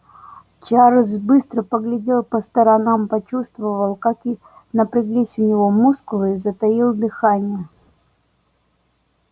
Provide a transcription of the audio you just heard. чарлз быстро поглядел по сторонам почувствовал как напряглись у него мускулы и затаил дыхание